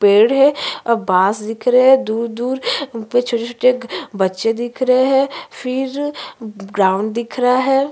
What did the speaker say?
पेड़ हैं और बस दिख रहें हैं दूर-दूर उस पर छोटे-छोटे बच्चे दिख रहें हैं फिर ग्राउंड दिख रहा है।